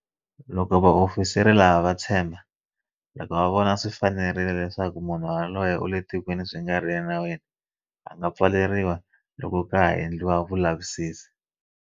Loko vaofisiri lava va tshemba, loko va vona swi fanerile, leswaku munhu yoloye u le tikweni swi nga ri enawini, a nga pfaleriwa loko ka ha endliwa